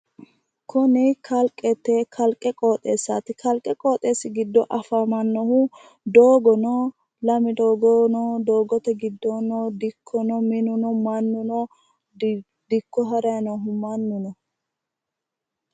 Kunni kalaqote kalaqo qoxxeessaati kalaqote qooxeesi gido afamanohu doogono lame doogono doogate gidoono dikkono minuno manuno dikko harayi noohu manuno.